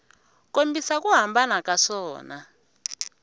kombisa ku hambana ka swona